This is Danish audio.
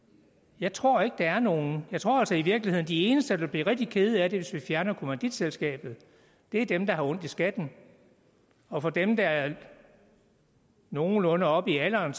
jeg tror ikke der er nogen jeg tror altså i virkeligheden at de eneste der bliver rigtig kede af det hvis vi fjerner kommanditselskabet er dem der har ondt i skatten og dem der er nogenlunde oppe i alderen